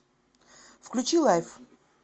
включи лайф